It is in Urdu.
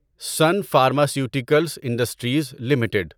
sun pharmaceuticals industries limited